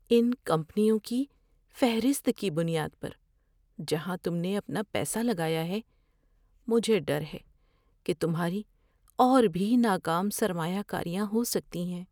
ان کمپنیوں کی فہرست کی بنیاد پر جہاں تم نے اپنا پیسہ لگایا ہے، مجھے ڈر ہے کہ تمہاری اور بھی ناکام سرمایہ کاریاں ہو سکتی ہیں۔